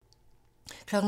TV 2